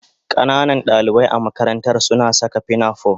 Ƙananan dalibai a makarantar suna saka pinafore